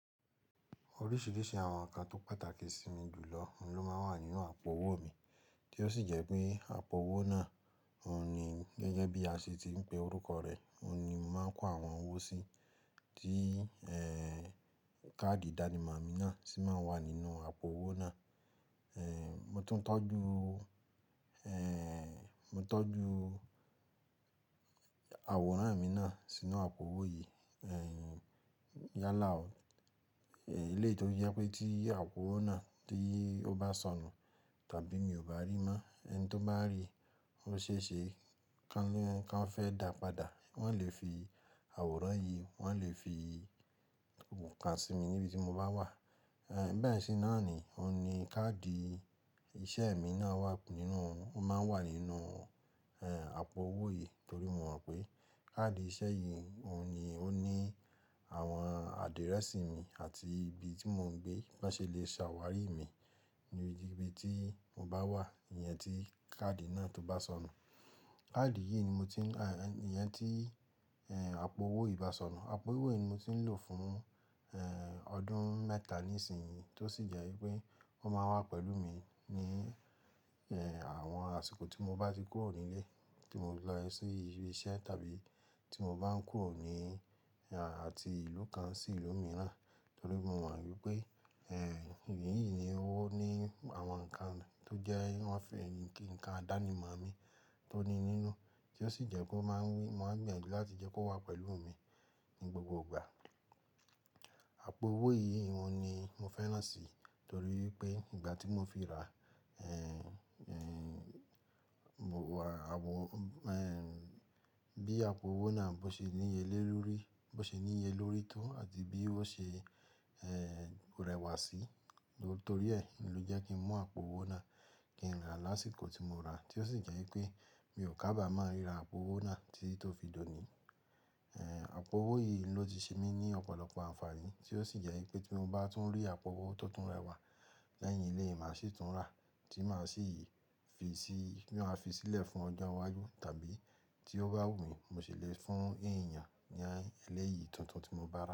Oríṣìíríṣìí àwọn nǹkan tó pàtàkì sí mi jù lọ oun ló máa ń wà nínú àpò owó mi, tí ó sì jẹ́ pé àpò owó náà oun ni gẹ́gẹ́ bí a ṣe ti ń pe orúkọ rẹ̀, òun ni mo máa ń kó àwọn owó sí, tí ẹẹhn káàdì ìdánimọ̀ mi náà ti máa ń wà nínú àpò owó náà. Mo tún tọ́jú, mo tọ́jú àwòrán mi náà sínú àpò owó yìí. Yálà o, eléyìí tó fi jẹ́ pé tí àpò owó náà tí ó bá sọnù tàbí mi ò bá rí mọ́, ẹni tó bá rí i, ó ṣe é ṣe kan fẹ́ dà padà, wọ́n lè fi àwòrán yìí, wọ́n lè fi òǹkà sí mi níbi tí mo bá wà. Bẹ́ẹ̀ sì náà ni, òun ni káàdì iṣẹ́ mi náà wà nínú òun. Ó máa ń wà nínú ẹhn àpò owó yìí torí mo mọ̀ pé káàdì iṣẹ́ yìí òun ni ó ní àwọn àdírẹ́sì mi àti ibi tí mò ń gbé. Wọ́n ṣe lè ṣàwárí mi níbi tí mo bá wà, ìyẹn tí káàdì náà tó bá sọnù. Káàdì yí ni mo ti ń, ah ẹni ìyẹn tíì, ẹhn. Àpò owó yìí ba sọnù, àpò owó yìí ni mo ti ń lò fún ẹhn ọdún mẹ́ta nísin yí, tó sì jẹ́ wí pé ó máa ń wà pẹ̀lú mi ní ẹhn àwọn àsìkò tí mo bá ti kúrò ní ilé, tí mo lọ sí ibi iṣẹ́ tàbí tí mo bá ń kúrò ní àti ìlú kan sí ìlú mìíràn. Torí mo mọ̀ wípé ẹhn èyí yìí ni ó ní àwọn nǹkan tó jẹ́ wọ́n fi ń kí nǹkan ìdánimọ̀ mi tó ní nínú, tí ó sì jẹ́ kò má ń, mo máa ń gbìyànjú láti jẹ́ kó wà pẹ̀lú mi ní gbogbo ìgbà. Àpò owó yìí òun ni mo fẹ́ràn sí, torí pé ìgbà tí mo fi ra, ẹhn bí àpò owó náà bó ṣe níye le lórí bó ṣe níye lórí ki o àti bí ó ṣe ẹhn rẹwà sí, nítorí ẹ́ ni ló jẹ́ kí n mú àpò owó náà kí n rà lásìkò tí mo rà, tí ó sì jẹ́ pé mi ò kábàmọ rí ra àpò owó náà tíi tó fi dòní, ẹhn. Àpò owó yìí ló ti ṣe mí ní ọ̀pọ̀lọpọ̀ àǹfààní, tí ó sì jẹ́ wí pé tí mo bá tún rí àpò owó tó tún rẹwà lẹ́yìn eléyìí, màá ṣì tún rà tí màá sì fi sílẹ̀ fún ọjọ́ iwájú tàbí tí ó bá wù mí, mo ṣì lè fún èèyàn lẹ́yìn tuntun tí mo bá rà.